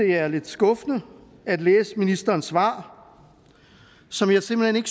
det er lidt skuffende at læse ministerens svar som jeg simpelt hen